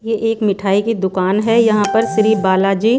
ये एक मिठाई की दुकान है यहां पर श्री बालाजी--